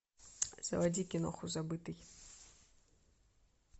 заводи киноху забытый